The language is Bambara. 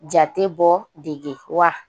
Jatebɔ dege wa